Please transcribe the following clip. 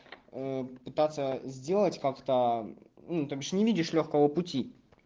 попытаться сделать как-то то бишь не видишь лёгкого пути